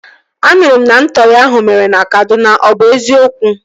A nụrụ m na ntọri ahụ mere na Kaduna. Ọ bụ eziokwu?